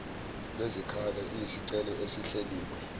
lwezikhalo iyisicelo esihleliwe